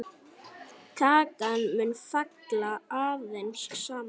Kakan mun falla aðeins saman.